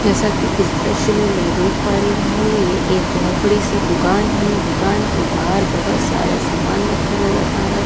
जैसा कि इस दृश्य में मैं देख पा रही हूं ये एक बहुत बड़ी सी दुकान है दुकान के बाहर बहुत सारा सामान रखा नजर आ रहा है।